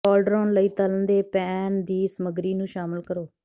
cauldron ਲਈ ਤਲ਼ਣ ਦੇ ਪੈਨ ਦੀ ਸਮਗਰੀ ਨੂੰ ਸ਼ਾਮਲ ਕਰੋ